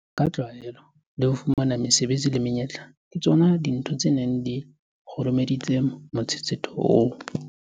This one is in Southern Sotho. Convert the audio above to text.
Ka tlwaelo, ho fumana mesebetsi le menyetla ke tsona dintho tse neng di kgurumeditse motshetshetho oo.